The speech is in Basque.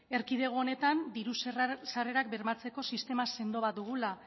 erkidego honetan diru sarrerak bermatzeko sistema sendo bat dugula